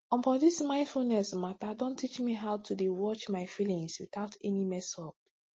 omo this mindfulness matter don teach me how to dey watch my feelings without any messup